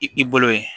I bolo ye